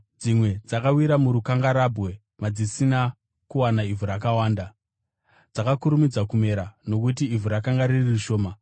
Dzimwe dzakawira murukangarabwe, madzisina kuwana ivhu rakawanda. Dzakakurumidza kumera, nokuti ivhu rakanga riri shoma.